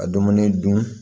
Ka dumuni dun